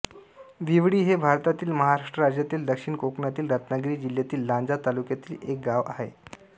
विवळी हे भारतातील महाराष्ट्र राज्यातील दक्षिण कोकणातील रत्नागिरी जिल्ह्यातील लांजा तालुक्यातील एक गाव आहे